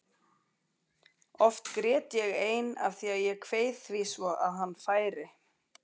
Oft grét ég ein af því að ég kveið því svo að hann færi.